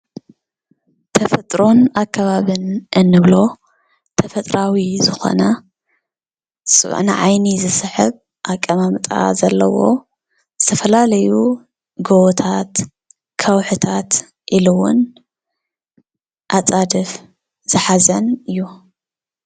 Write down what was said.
ተፈጥሮን ኣከባብን እንብሎ ተፈጥራዊ ዝኾነ ንዓይኒ ዝስሕብ ኣቀማምጣ ዘለዎ ዝተፈላለዩ ጎቦታት፣ ከውሒታት ኢሉ ውን ኣፃድፍ ዝሓዘን እዩ፡፡